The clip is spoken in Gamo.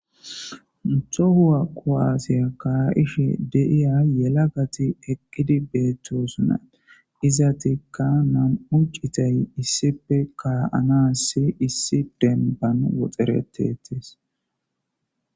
ntohuwa qoaasiya ka7ishi deiya yela gati eqqidi beettosunat izatikka nam7uccitay issipe ka7anassi issi denban woxeretetis